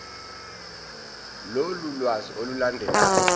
lolu lwazi olulandelayo